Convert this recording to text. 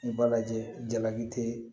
I b'a lajɛ jalaki te